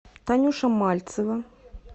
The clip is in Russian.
танюша мальцева